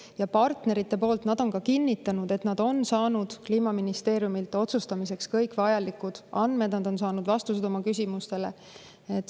Ja partnerid on ka kinnitanud, et nad on saanud Kliimaministeeriumilt kõik otsustamiseks vajalikud andmed, on saanud vastused oma küsimustele.